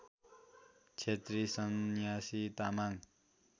Chhetri Sanyasi Tamang